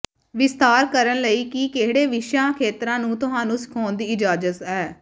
ਵਿਸਤਾਰ ਕਰਨ ਲਈ ਕਿ ਕਿਹੜੇ ਵਿਸ਼ਾ ਖੇਤਰਾਂ ਨੂੰ ਤੁਹਾਨੂੰ ਸਿਖਾਉਣ ਦੀ ਇਜਾਜ਼ਤ ਹੈ